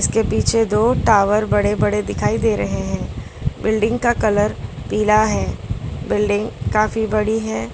के पीछे दो टावर बड़े बड़े दिखाई दे रहे हैं बिल्डिंग का कलर पीला है बिल्डिंग काफी बड़ी है।